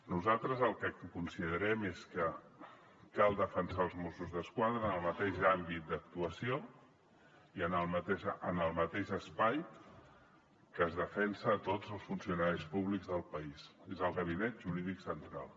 nosaltres el que considerem és que cal defensar els mossos d’esquadra en el mateix àmbit d’actuació i en el mateix espai que es defensa tots els funcionaris públics del país és el gabinet jurídic central